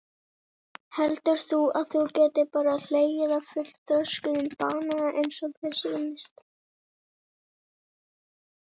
Heldur þú að þú getir bara hlegið af fullþroskuðm banana eins og þér sýnist?